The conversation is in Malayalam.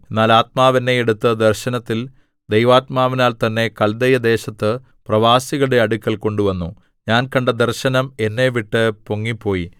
എന്നാൽ ആത്മാവ് എന്നെ എടുത്ത് ദർശനത്തിൽ ദൈവാത്മാവിനാൽ തന്നെ കല്ദയദേശത്ത് പ്രവാസികളുടെ അടുക്കൽ കൊണ്ടുവന്നു ഞാൻ കണ്ട ദർശനം എന്നെവിട്ടു പൊങ്ങിപ്പോയി